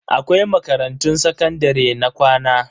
Akwai makarantun sakandare na ƙwana.